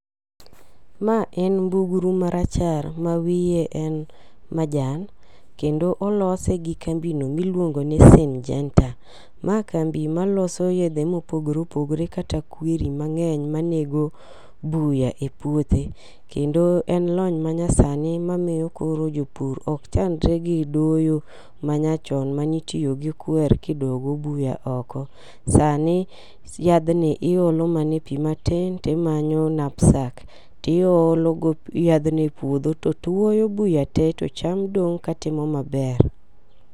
Ma en mbugru marachar ma wiye en majan kendo olose gi kambi no miluongo ni sinjenta. Ma kambi maloso yedhe mopogore opogore kata kwiri mang'eny manego buya e puothe kendo en lony ma nya sani mamiyo koro jopur ok chandre gi doyo ma nya chon manitiyo gi kwer kidogo buya oko .Sani yathni iole mana Piii matin timanyo napsak niolo go yadhni e puodho to tuoyo buya tee to cham dong' katimo maber.